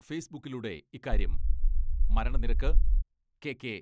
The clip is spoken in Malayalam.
ഫേസ്ബുക്കിലൂടെ ഇക്കാര്യം മരണനിരക്ക് കെ.കെ.